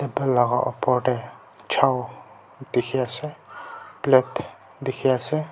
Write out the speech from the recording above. table laka opor te chow dekhi ase plate dekhi ase.